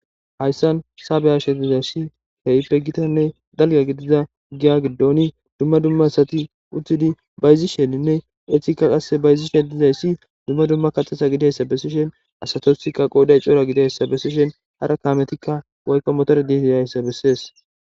Hayssan saabe hashe dizayssi hehippe gitanne dalga gidiza giya giddoni dumma dumma asati utidi bayzisheninne etika qasse bayzishen dizayssi dumma dumma kaxasa gidayssa bessishen asatosikka qooday coora gidayssa besishen hara kaametikka woykko motora dii dizayssa bessees.